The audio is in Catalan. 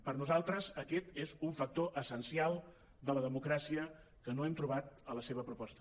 per nosaltres aquest és un factor essencial de la democràcia que no hem trobat a la seva proposta